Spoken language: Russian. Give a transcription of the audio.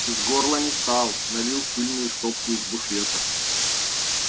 из горла не стал налил в пыльную стопку из буфета